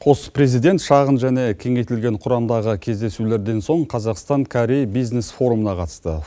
қос президент шағын және кеңейтілген құрамдағы кездесулерден соң қазақстан корей бизнес форумына қатысты